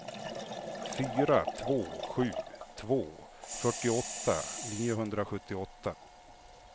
fyra två sju två fyrtioåtta niohundrasjuttioåtta